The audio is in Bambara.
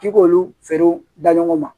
K'i k'olu feerew da ɲɔgɔn ma